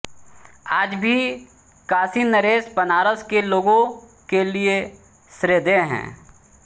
आज भी काशीनरेश बनारस के लोगों के लिये श्रद्धेय हैं